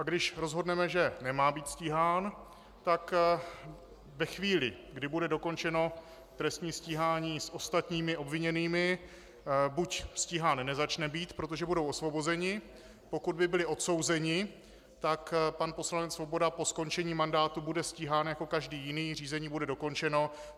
A když rozhodneme, že nemá být stíhán, tak ve chvíli, kdy bude dokončeno trestní stíhání s ostatními obviněnými, buď stíhán nezačne být, protože budou osvobozeni, pokud by byli odsouzeni, tak pan poslanec Svoboda po skončení mandátu bude stíhán jako každý jiný, řízení bude dokončeno.